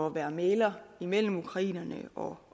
at være mægler mellem ukrainerne og